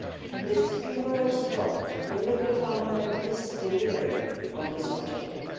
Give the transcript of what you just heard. With tomorrow's vote, the European Parliament is delivering on this objective.